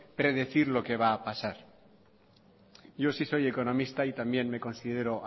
predecir lo que va a pasar yo sí soy economista y también me considero